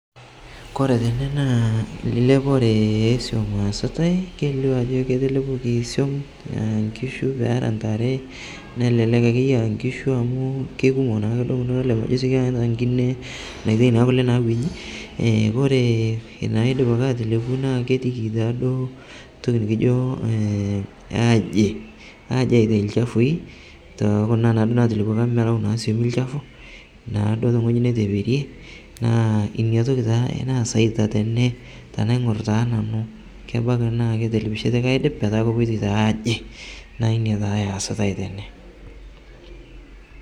Koree tene na elepore easita kelio ajo etelepuoki nkishu neeta ntare nelelek akeyie a nkishu amu kekumok nona kule oleng ijo nai enkine mitau kule nabanji e kore kuna naidipa atelepu na ketiiki duo ntoki nikiji aji ana lchafui tokunabnatelepuoki amu naaduo tewueji natepetie neaku inatoki taa naasaita tene tanaingor na nanu kebaki naketelepishe obo aidip naina taa easitae tene.